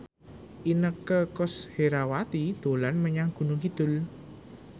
Inneke Koesherawati dolan menyang Gunung Kidul